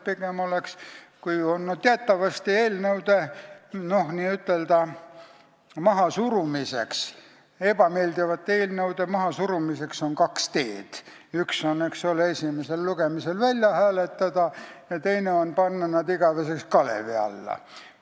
Teatavasti on ebameeldivate eelnõude n-ö mahasurumiseks kaks teed: üks on nad esimesel lugemisel välja hääletada ja teine on panna nad igaveseks kalevi alla.